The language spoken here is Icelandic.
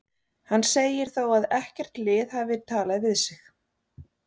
Hann segir þó að ekkert lið hafi talað við sig.